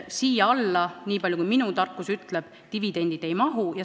Siia alla, niipalju kui minu tarkus ütleb, dividendid ei kuulu.